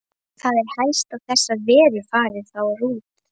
Það er helst að þessar verur fari þar út.